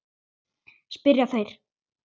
spyrja þeir.